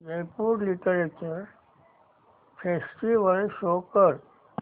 Jaipur literature festival show कर